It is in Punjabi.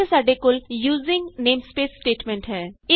ਇਥੇ ਸਾਡੇ ਕੋਲ ਯੂਜ਼ਿੰਗ ਨੇਮਸਪੇਸ ਸਟੇਟਮੈਂਟ ਹੈ